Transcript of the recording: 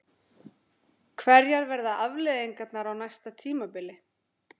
Hverjar verða afleiðingarnar á næsta tímabili?